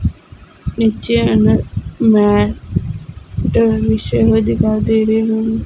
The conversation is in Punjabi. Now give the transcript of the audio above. ਨੀਚੇ ਹਨ ਮੈਟ ਟ ਵਿਛੇ ਹੋਏ ਦਿਖਾਈ ਦੇ ਰਹੇ ਹਨ।